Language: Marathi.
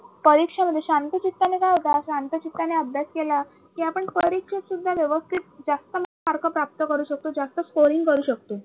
परीक्षामध्ये शांत चित्ताने काय होत शांत चित्ताने आपण अभ्यास केला कि आपण परीक्षेत सुद्धा व्यवस्थित जास्त mark प्राप्त करू शकतो जास्त scoring करू शकतो